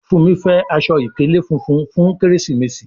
Fúnmi fè Aṣọ ìkèlé fúnfún fún Kérésìmesì.